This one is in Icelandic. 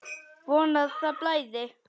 Von að það blæði!